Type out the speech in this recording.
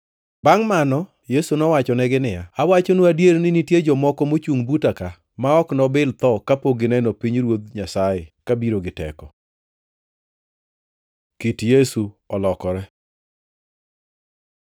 Bangʼ mano Yesu nowachonegi niya, “Awachonu adier ni nitie jomoko mochungʼ buta ka ma ok nobil tho kapok gineno pinyruoth Nyasaye ka biro gi teko.” Kit Yesu olokore